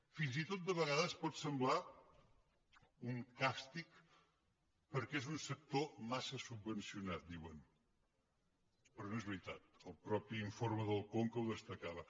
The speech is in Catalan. fins i tot de vegades pot semblar un càstig perquè és un sector massa subvencionat diuen però no és veritat el mateix informe del conca ho destacava